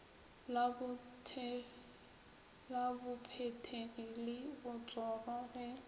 la bophethegi le botsoro ge